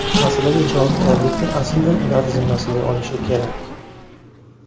Masalaga javobgarlikni aslida ular zimmasiga olishi kerak.